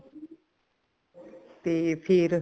ਤੇ ਫ਼ੇਰ